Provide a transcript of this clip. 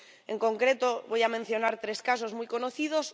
En concreto, voy a mencionar tres casos muy conocidos.